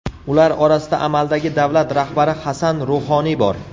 Ular orasida amaldagi davlat rahbari Hasan Ruhoniy bor.